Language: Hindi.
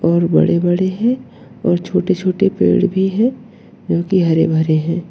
और बड़े बड़े हैं और छोटे छोटे पेड़ भी हैं जो की हरे भरे हैं।